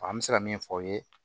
An bɛ se ka min fɔ aw ye